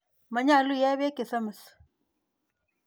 Manyalu iee peek che samis.